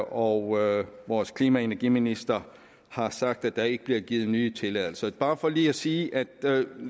og vores klima og energiminister har sagt at der ikke bliver givet nye tilladelser det er bare for lige at sige at